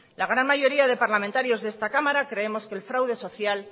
la gran mayoría de los parlamentarios de esta cámara creemos que el fraude social